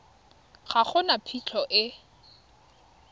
ga go na phitlho e